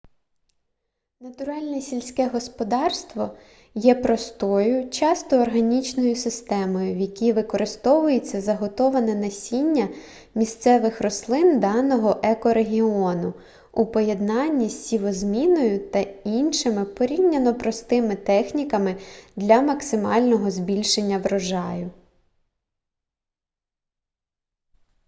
натуральне сільське господарство є простою часто органічною системою в якій використовується заготоване насіння місцевих рослин даного екорегіону у поєднанні з сівозміною та іншими порівняно простими техніками для максимального збільшення врожаю